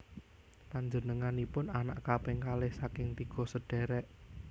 Panjénenganipun anak kaping kalih saking tiga sedhèrèk